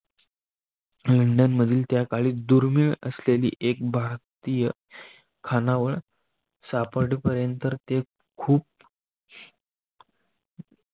London त्याकाळी दुर्मिळ असलेली एक भारतीय स्थानावर सापडपर्यंत ते खूप